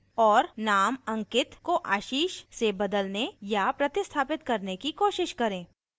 और name ankit को ashish से बदलने या प्रतिस्थापित करने की कोशिश करें